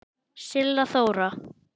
Silla Þóra.